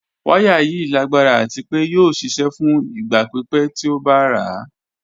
Wàyà yìí lágbara àti pé yóò ṣíṣẹ̀ fún ìgba pípẹ̀ tí ó bá rà.